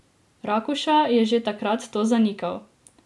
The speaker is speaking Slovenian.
Rakuša je že takrat to zanikal.